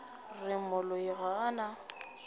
re moloi ga a na